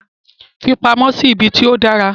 Fi pamọ́ sí ibi tí ó dára.